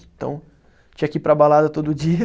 Então, tinha que ir para a balada todo dia.